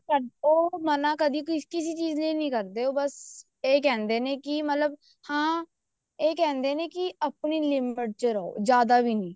ਸਾਨੂੰ ਉਹ ਮਨਾ ਕਦੇ ਕਿਸੀ ਚੀਜ਼ ਲਈ ਨਹੀਂ ਕਰਦੇ ਉਹ ਬੱਸ ਇਹ ਕਹਿੰਦੇ ਨੇ ਵੀ ਮਤਲਬ ਅਮ ਇਹ ਕਹਿੰਦੇ ਵੀ ਆਪਣੀ limit ਚ ਰਹੋ ਜਿਆਦਾ ਵੀ ਨੀ